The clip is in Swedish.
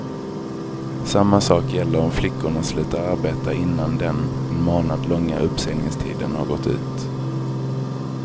Samma sak gäller om flickorna slutar arbeta innan den en månad långa uppsägningstiden har gått ut.